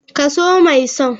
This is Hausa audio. Ka so mai son.